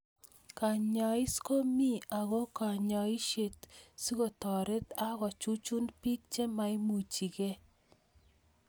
Kenyais ko mii ako kinyaishe sikotaret ak chuchuch piik che maimuchikei